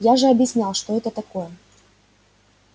я же объяснял что это такое